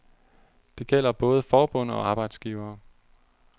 Det gælder både forbund og arbejdsgivere.